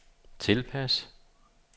tilpas